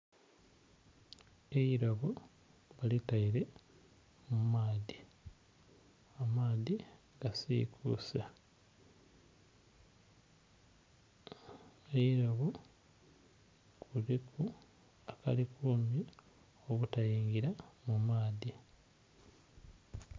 Eirobo baliteire mu maadhi, amaadhi gasikuuse. Eirobo liriku akalikuma obutaingira mu maadhi.